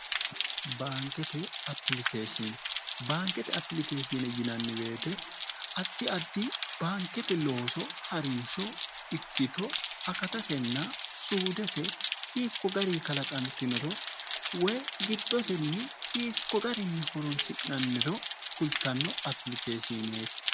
bnbaankete apilikeeshine yinanni beete atti addi baankete looso ha'rinsho ikkito akatasenna suudese hiikko gari kalaqantinoro woy gittosenni hiikko garinni horonsi'nanniro kultanno apilikeeshiineeti